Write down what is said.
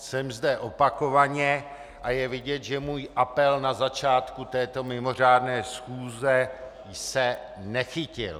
Jsem zde opakovaně a je vidět, že můj apel na začátku této mimořádné schůze se nechytil.